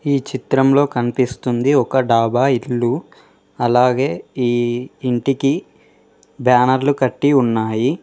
ఈ చిత్రంలో కనిపిస్తుంది ఒక డాబా ఇల్లు అలాగే ఈ ఇంటికి బ్యానర్లు కట్టి ఉన్నాయి.